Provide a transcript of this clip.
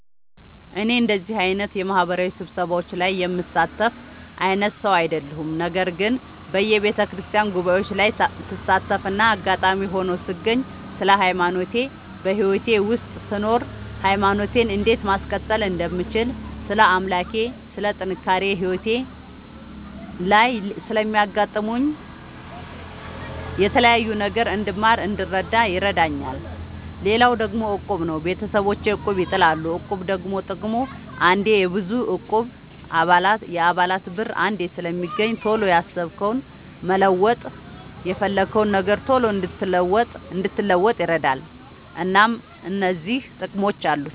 እኔ እንደዚህ አይነት የማህበራዊ ስብሰባዎች ላይ የምሳተፍ አይነት ሰው አይደለሁም። ነገር ግን በየቤተክርስቲያን ጉባኤዎች ላይ ስሳተፍና አጋጣሚ ሆኖ ስገኝ ስለ ሃይማኖቴ በህይወቴ ውስጥ ስኖር ሃይማኖቴን እንዴት ማስቀጠል እንደምችል ስለ አምላኬ ስለ ጥንካሬ ህይወቴ ላይ ስለሚያጋጥሙኝ የተለያዩ ነገሮች እንድማር እንድረዳ ይረዳኛል። ሌላው ደግሞ እቁብ ነው። ቤተሰቦቼ እቁብ ይጥላሉ። እቁብ ደግሞ ጥቅሙ አንዴ የብዙ እቁብ የአባላት ብር አንዴ ስለሚገኝ ቶሎ ያሰብከውን መለወጥ የፈለግከውን ነገር ቶሎ እንድትለውጥ ይረዳል። እናም እነዚህ ጥቅሞች አሉት።